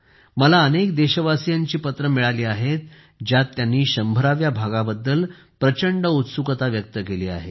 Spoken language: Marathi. मला अनेक देशवासीयांची पत्रे मिळाली आहेत ज्यात त्यांनी 100 व्या भागाबद्दल प्रचंड उत्सुकता व्यक्त केली आहे